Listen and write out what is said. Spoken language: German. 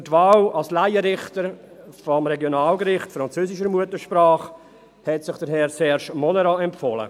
Für die Wahl als Laienrichter des Regionalgerichts französischer Muttersprache hat sich Herr Serge Monnerat empfohlen.